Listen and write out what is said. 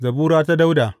Zabura ta Dawuda.